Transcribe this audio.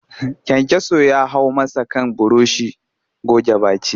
Kayankyaso ya hau masa kan burushin goge baki